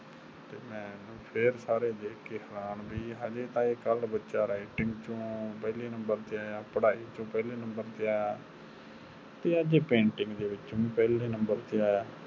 ਤੇ ਮੇਨੂ ਫਿਰ ਸਾਰੇ ਦੇਖ ਕ ਹੈਰਾਨ ਵੀ ਹਾਲੇ ਤਾ ਇਹ ਕਲ ਬੱਚਾ writing ਚੋ ਪਹਿਲੇ ਨੰਬਰ ਤੇ ਆਯਾ, ਪੜ੍ਹਾਈ ਚੋ ਪਹਿਲੇ ਨੰਬਰ ਤੇ ਆਯਾ ਤੇ ਅੱਜ ਇਹ ਪੈਂਟਿੰਗ ਚੋ ਵੀ ਪਹਲੇ ਨੰਬਰ ਤੇ ਆਯਾ